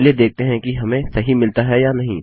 चलिए देखते हैं कि हमें सही मिलता है या नहीं